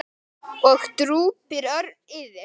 og drúpir örn yfir.